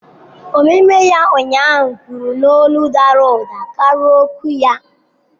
Omume ya ụnyaahụ kwuru n'olu dara ụda karịa okwu ya.